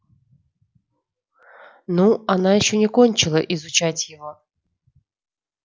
ну она ещё не кончила изучать его